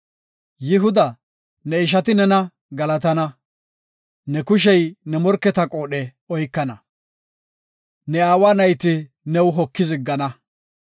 “Yihuda, ne ishati nena galatana; Ne kushey ne morketa qoodhe oykana; Ne aawa nayti new hokidi ziggana.